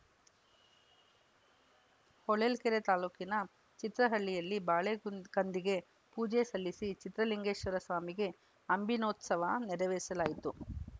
ಹೊಳಲ್ಕೆರೆ ತಾಲೂಕಿನ ಚಿತ್ರಹಳ್ಳಿಯಲ್ಲಿ ಬಾಳೆ ಕುಂದ್ ಕಂದಿಗೆ ಪೂಜೆ ಸಲ್ಲಿಸಿ ಚಿತ್ರಲಿಂಗೇಶ್ವರ ಸ್ವಾಮಿಗೆ ಅಂಬಿನೋತ್ಸವ ನೆರವೇರಿಸಲಾಯಿತು